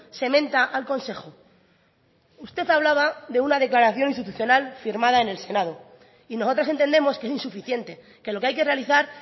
se menta al consejo usted hablaba de una declaración institucional firmada en el senado y nosotras entendemos que es insuficiente que lo que hay que realizar